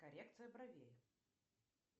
коррекция бровей